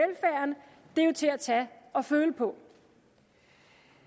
er jo til at tage og føle på